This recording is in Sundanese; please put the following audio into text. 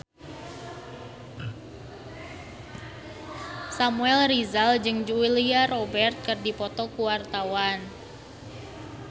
Samuel Rizal jeung Julia Robert keur dipoto ku wartawan